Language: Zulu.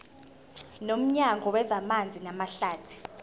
nomnyango wezamanzi namahlathi